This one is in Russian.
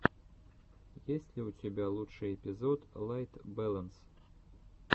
есть ли у тебя лучший эпизод лайт бэлэнс